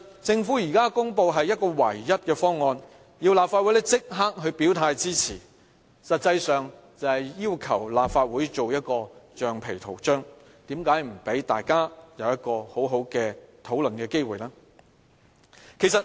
政府現時公布的是唯一的方案，要立法會立即表態支持，實際上就是要求立法會做一個橡皮圖章，為何不讓大家有一個機會好好的討論呢？